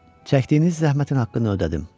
Çəkdiyiniz zəhmətin haqqını ödədim.